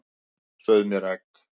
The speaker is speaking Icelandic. Sauð mér egg.